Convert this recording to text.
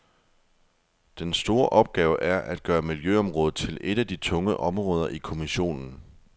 Den store opgave er at gøre miljøområdet til et af de tunge områder i kommissionen.